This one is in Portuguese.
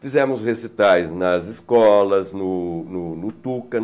Fizemos recitais nas escolas, no no no Tuca.